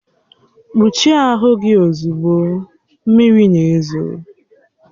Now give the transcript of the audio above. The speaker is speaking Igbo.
Kpuchie ahụ gị ozugbo, mmiri na-ezo!